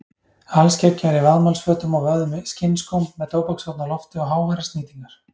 Alskeggjaður í vaðmálsfötum og vöfðum skinnskóm með tóbakshorn á lofti og háværar snýtingar.